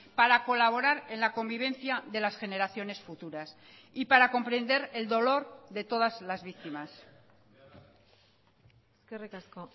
para colaborar en la convivencia de las generaciones futuras y para comprender el dolor de todas las víctimas eskerrik asko